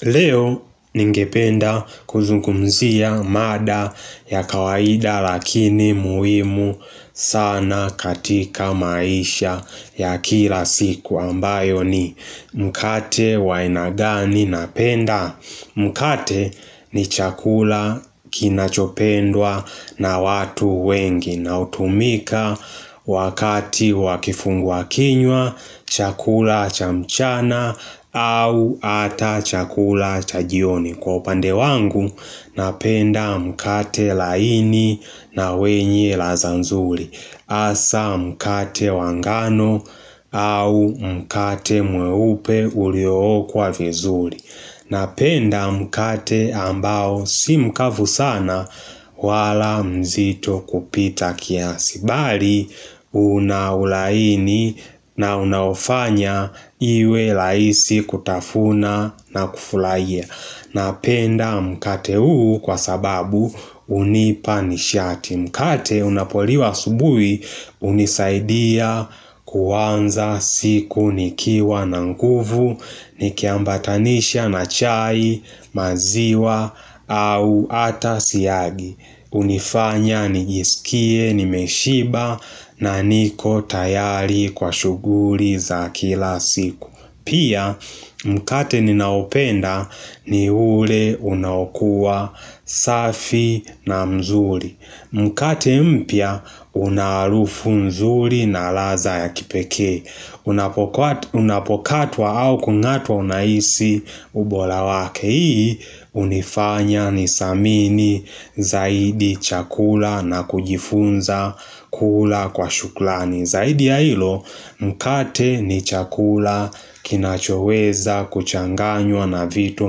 Leo ningependa kuzungumzia mada ya kawaida lakini muhimu sana katika maisha ya kila siku ambayo ni mkate wa aina gani napenda. Mkate ni chakula kinachopendwa na watu wengi na hutumika wakati wa kifungua kinywa chakula cha mchana au ata chakula cha jioni. Kwa upande wangu napenda mkate laini na wenye laza nzuli hasa mkate wangano au mkate mweupe uliookwa vizuli Napenda mkate ambao simkavu sana wala mzito kupita kiasi Bali unaulaini na unaofanya iwe laisi kutafuna na kufurahia Napenda mkate huu kwa sababu hunipa nishati. Mkate unapoliwa asubui hunisaidia kuanza siku nikiwa na nguvu, nikiambatanisha na chai maziwa au ata siagi. Hunifanya nijisikie nimeshiba na niko tayari kwa shuguli za kila siku. Pia mkate ninaopenda ni ule unakua safi na mzuri Mkate mpya unaharufu nzuri na laza ya kipeke Unapokatwa au kungatwa unahisi ubora wake Hii unifanya nisamini zaidi chakula na kujifunza kula kwa shuklani Zaidi ya hilo mkate ni chakula kinachoweza kuchanganywa na vitu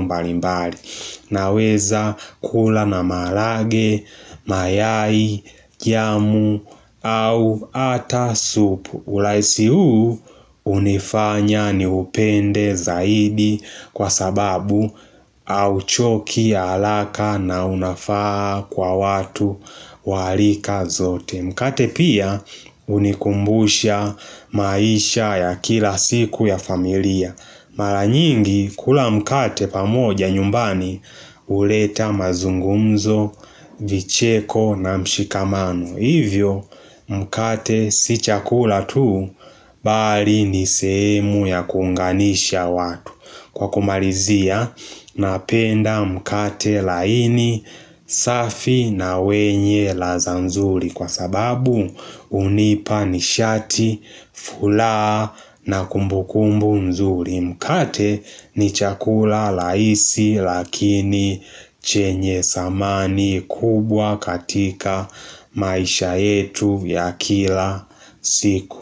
mbalimbali naweza kula na malage, mayai, jamu au ata supu. Urahisi huu hunifanya niupende zaidi kwa sababu auchoki haraka na unafaa kwa watu warika zote. Mkate pia hunikumbusha maisha ya kila siku ya familia Mara nyingi kula mkate pamoja nyumbani huleta mazungumzo, vicheko na mshikamano Hivyo mkate si chakula tuu bali ni semu ya kuunganisha watu Kwa kumalizia napenda mkate laini safi na wenye laza nzuri Kwa sababu hunipa nishati, furaha na kumbukumbu mzuri Mkate ni chakula rahisi lakini chenye samani kubwa katika maisha yetu ya kila siku.